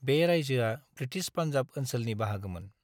बे रायजोआ ब्रिटिश पान्जाब ओनसोलनि बाहागोमोन।